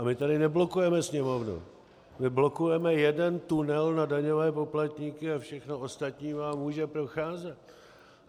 A my tady neblokujeme Sněmovnu, my blokujeme jeden tunel na daňové poplatníky a všechno ostatní vám může procházet.